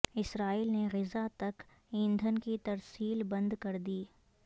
اسرائیل نے غزہ تک ایندھن کی ترسیل بند کر دی